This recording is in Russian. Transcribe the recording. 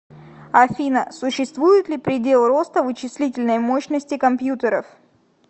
афина существует ли предел роста вычислительной мощности компьютеров